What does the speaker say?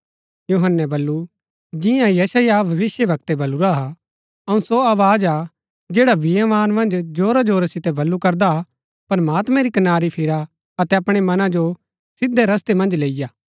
यूहन्‍नै बल्लू जियां यशायाह भविष्‍यवक्तै बलुरा हा अऊँ सो आवाज हा जैडा बियावान मन्ज जोरा जोरा सितै बल्लू करदा हा प्रमात्मैं री कनारी फिरा अतै अपणै मना जो सिधै रस्तै मन्ज लैईआ